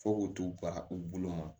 Fo k'u t'u bara u bolo ma